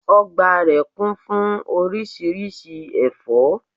Ogbà rè kún fún orísirísi èfó